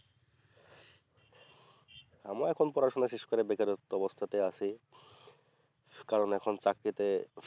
আমিও এখন পড়াশুনো শেষ করে বেকারত্ব অবস্তাতে আছি কারণ এখন চাকরিতে